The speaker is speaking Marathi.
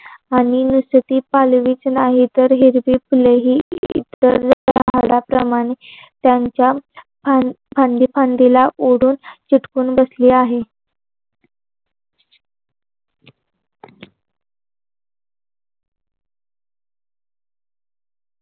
आणि नुसती पालवीच नाही तर हिरवी फुले ही इतर झाडाप्रमाणे त्यांच्या फांदी फांदीला ओढून चिटकून बसली आहे.